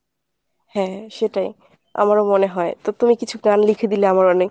হ্যাঁ সেটাই আমারও মনে হয় তো তুমি কিছু গান লিখে দিলে আমার অনেক